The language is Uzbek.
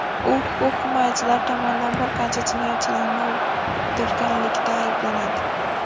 U huquq himoyachilari tomonidan bir qancha jinoyatchilarni o‘ldirganlikda ayblanadi.